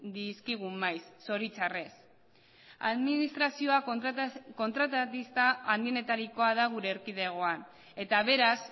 dizkigun maiz zoritxarrez administrazioa kontratista handienetarikoa da gure erkidegoan eta beraz